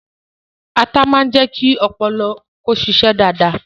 Atá máa ń jẹ́ kí ọpọlọ ó ṣíṣe dáadáa